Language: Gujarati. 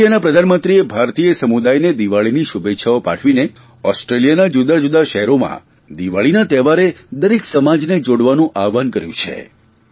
ઓસ્ટ્રેલિયાના પ્રધાનમંત્રીએ ભારતીય સમુદાયને દિવાળીની શુભેચ્છાઓ પાઠવીને ઓસ્ટ્રેલિયાના જુદાંજુદાં શહેરોમાં દિવાળીના તહેવારે દરેક સમાજને જોડાવાનું આહવાન કર્યું છે